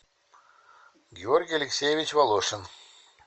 георгий алексеевич волошин